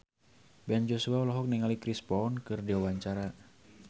Ben Joshua olohok ningali Chris Brown keur diwawancara